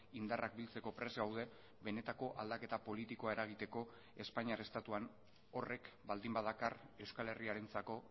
indarrak biltzeko prest gaude benetako aldaketa politikoa eragiteko espainiar estatuan horrek baldin badakar euskal herriarentzako